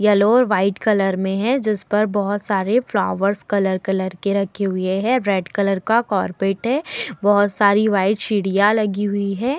Yellow और white colour में है जिस पर बहोत सारे फ्लावर्स कलर कलर के रखे हुए हैं। रेड कलर का कॉर्पोरेट है। बहोत सारी व्हाइट सीढ़ियाँ लगी हुई है।